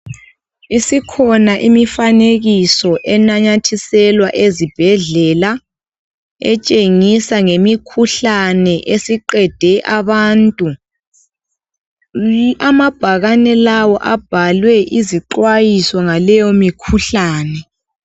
Isikhona imifanekiso enamathiselwa ezibhedlela etshengisa ngemikhuhlane esiqede abantu, amabhakane lawa abhalwe izixwayiso ngaleyo mikhuhlane.